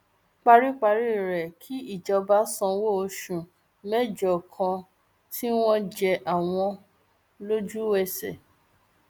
paríparí rẹ kí ìjọba sanwó oṣù mẹjọ kan tí wọn jẹ àwọn lójúẹsẹ